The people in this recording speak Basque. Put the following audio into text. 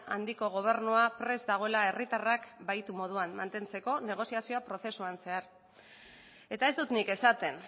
handiko gobernua prest dagoela herritarrak bahitu moduan mantentzeko negoziazio prozesuan zehar eta ez dut nik esaten